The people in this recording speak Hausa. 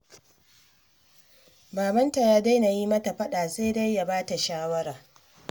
Babanta ya daina yi mata faɗa, sai dai ya ba ta shawara